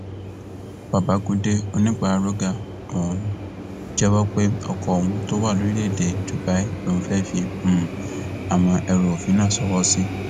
babagundé onípararóga um jẹwọ pé ọkọ òun tó wà lórílẹèdè dubai lòun fẹẹ fi um àwọn ẹrù òfin náà ṣòwò sí